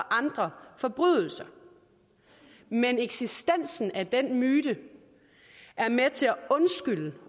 andre forbrydelser men eksistensen af den myte er med til at undskylde